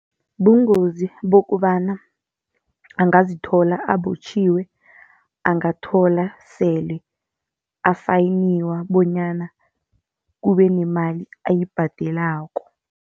Bungozi bokobana angazithola abotjhiwe, angathola sele afayiniwa bonyana kube nemali ayibhadelako.